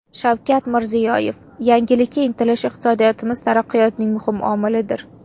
Shavkat Mirziyoyev: Yangilikka intilish iqtisodiyotimiz taraqqiyotining muhim omilidir.